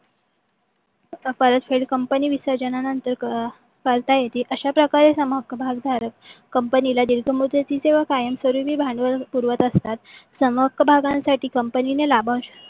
परत फेड company विसर्जणा नंतर करता येते अश्या प्रकारे संहक्क भाग धारक कंपनीला दीर्घ मुदतीचे व कायम स्वरूपी भांडवल पुरवीत असतात. समहक्क भागांसाठी कंपनीने लाभांश